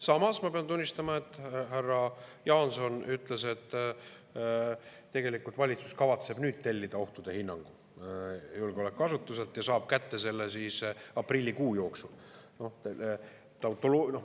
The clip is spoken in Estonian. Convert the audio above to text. Samas ma pean tunnistama, et härra Jaanson ütles, et tegelikult valitsus kavatseb nüüd tellida ohtude hinnangu julgeolekuasutuselt ja saab kätte selle aprillikuu jooksul.